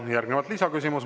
Järgnevalt lisaküsimus.